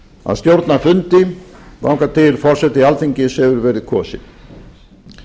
að stjórna fundi þangað til forseti alþingis hefur verið kosinn